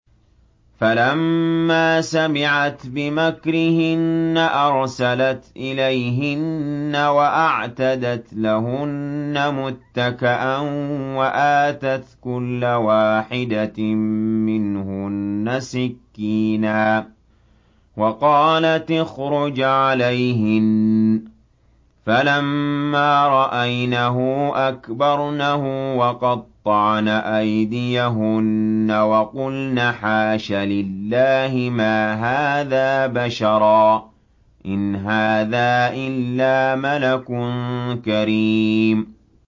فَلَمَّا سَمِعَتْ بِمَكْرِهِنَّ أَرْسَلَتْ إِلَيْهِنَّ وَأَعْتَدَتْ لَهُنَّ مُتَّكَأً وَآتَتْ كُلَّ وَاحِدَةٍ مِّنْهُنَّ سِكِّينًا وَقَالَتِ اخْرُجْ عَلَيْهِنَّ ۖ فَلَمَّا رَأَيْنَهُ أَكْبَرْنَهُ وَقَطَّعْنَ أَيْدِيَهُنَّ وَقُلْنَ حَاشَ لِلَّهِ مَا هَٰذَا بَشَرًا إِنْ هَٰذَا إِلَّا مَلَكٌ كَرِيمٌ